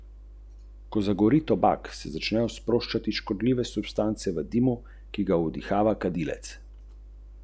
Tudi vprašanje pritiska na obdolženca.